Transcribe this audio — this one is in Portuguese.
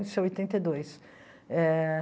Isso em oitenta e dois eh